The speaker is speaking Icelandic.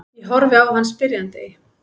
Ég horfi á hann spyrjandi.